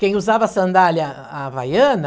Quem usava sandália havaiana,